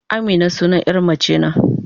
Amina sunan ƴa mace ne.